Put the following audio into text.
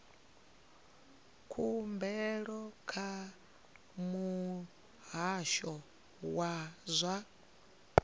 khumbelo kha muhasho wa zwa